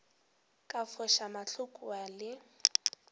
ka foša mahlo kua le